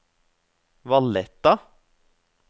Valletta